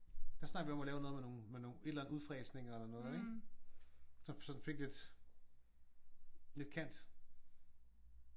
Der snakkede vi om at lave noget med nogen med nogen et eller andet udfræsninger eller noget så den fik lidt lidt kant